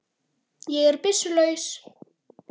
Ég er byssu laus.